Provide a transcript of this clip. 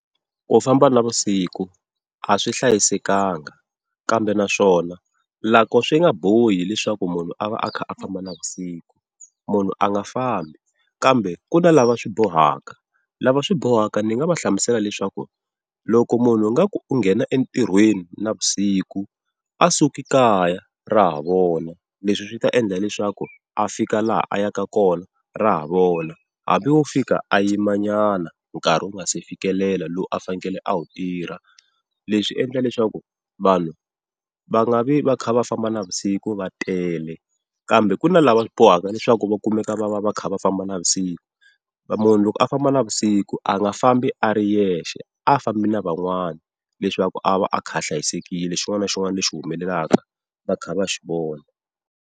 Ku famba navusiku a swi hlayisekanga, kambe naswona loko swi nga bohi leswaku munhu a va a kha a famba navusiku munhu a nga fambi. Kambe ku na lava swi bohaka lava swi bohaka ni nga va hlamusela leswaku loko munhu a nga ku u nghena entirhweni na vusiku a suke kaya ra ha vona. Leswi swi ta endla leswaku a fika laha a yaka kona ra ha vona, hambi wo fika a yimanyana nkarhi wu nga si fikelela lowu a fanekele a wu tirha. Leswi swiendla leswaku vanhu va nga vi va kha va famba navusiku va tele, kambe ku na lava bohaka leswaku va kumeka va va va kha va famba navusiku. Munhu loko a famba na vusiku a nga fambi a ri yexe a fambi na van'wana leswaku a va a kha a hlayisekile xin'wana na xin'wana lexi humelelaka va kha va xi vona.